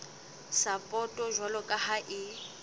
sapoto jwalo ka ha e